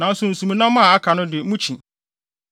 Nanso nsumnam a aka no de, mukyi.